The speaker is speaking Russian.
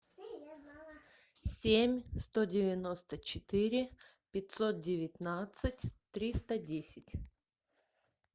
семь сто девяносто четыре пятьсот девятнадцать триста десять